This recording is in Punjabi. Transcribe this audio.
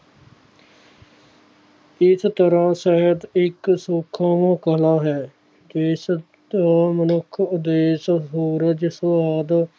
ਇਸ ਤਰਾਂ ਸ਼ਾਇਦ ਇੱਕ ਸੂਖਮ ਕਲਾ ਹੈ ਇਸ ਮਨੁੱਖ ਉੱਦੇਸ਼ ਭੁਰਸ ਸੁਵਾਦ